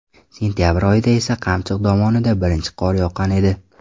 Sentabr oyida esa Qamchiq dovonida birinchi qor yoqqan edi .